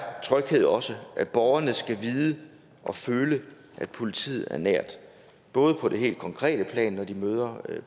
tryghed også at borgerne skal vide og føle at politiet er nær både på det helt konkrete plan når de møder